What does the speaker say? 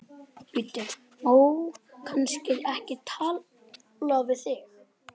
Bíddu, má kannski ekki tala við þig?